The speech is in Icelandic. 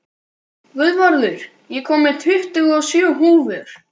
Guðvarður, ég kom með tuttugu og sjö húfur!